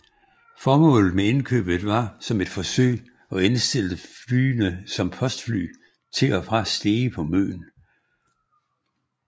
Formålet med indkøbet var som et forsøg at indsætte flyene som postfly til og fra Stege på Møn